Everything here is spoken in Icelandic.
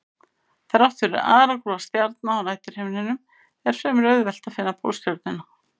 Þrátt fyrir aragrúa stjarna á næturhimninum er fremur auðvelt að finna Pólstjörnuna.